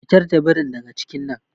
Fitar da birin daga cikin nan.